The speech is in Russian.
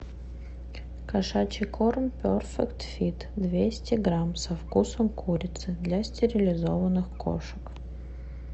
кошачий корм перфект фит двести грамм со вкусом курицы для стерилизованных кошек